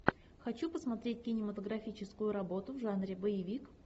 хочу посмотреть кинематографическую работу в жанре боевик